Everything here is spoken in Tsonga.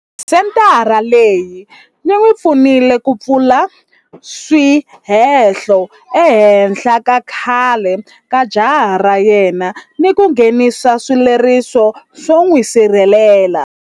Senthara leyi yi n'wi pfunile ku pfula swihehlo ehenhla ka khale ka jaha ra yena ni ku nghenisa xileriso xo n'wi sirhelela.